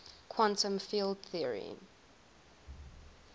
quantum field theory